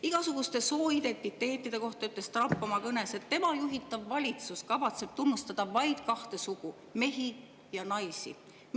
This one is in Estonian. Igasuguste sooidentiteetide kohta ütles Trump oma kõnes, et tema juhitav valitsus kavatseb tunnustada vaid kahte sugu: mehi ja naisi.